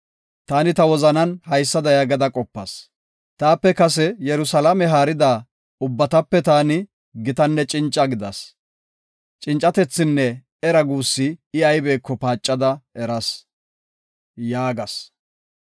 Taani ta wozanan haysada yaagada qopas; “Taape kase Yerusalaame haarida ubbatape taani gitanne cinca gidas. Cincatethinne era guussi I aybeko paacada eras” yaagas.